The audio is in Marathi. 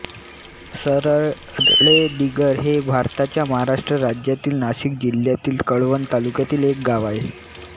सरळेदिगर हे भारताच्या महाराष्ट्र राज्यातील नाशिक जिल्ह्यातील कळवण तालुक्यातील एक गाव आहे